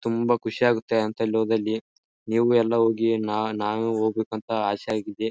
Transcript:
ತುಂಬಾ ಖುಷಿಯಾಗುತ್ತೆ ಅಂಥಲ್ಲಿ ಹೋದಲ್ಲಿ ನೀವು ಎಲ್ಲ ಹೋಗಿ. ನ ನಾನು ಹೋಗ್ಬೇಕು ಅಂತ ಆಸೆ ಆಗಿದೆ.